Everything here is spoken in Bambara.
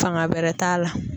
Fanga bɛrɛ t'a la.